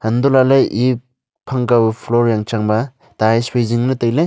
untoh lahley eya phang kaw floor yang changba tiles phai zingley tailey.